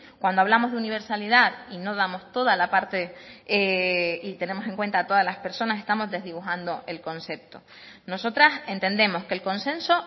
cuando hablamos de universalidad y no damos toda la parte y tenemos en cuenta todas las personas estamos desdibujando el concepto nosotras entendemos que el consenso